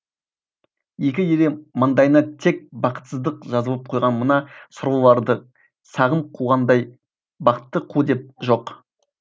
екі елі маңдайына тек бақытсыздық жазылып қойған мына сорлыларды сағым қуғандай бақты қу деп жоқ